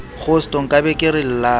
kgosto nkabe ke re llang